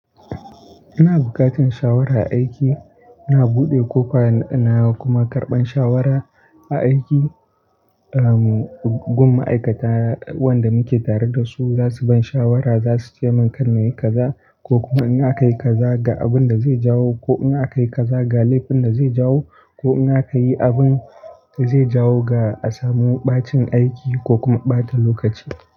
Ina bukatan shawara aiki, ina buɗe kofa na kuma karɓan shawara a aiki. Gun ma'aikata wanda muke tare da su za su ban shawara, za su ce min kar na yi kaza ko kuma in aka yi kaza ga abun da zai jawo ko in aka yi kaza ga laifin da zai jawo ko in aka yi abun da zai jawo ga asamu ɓacin aiki ko kuma ɓata lokaci.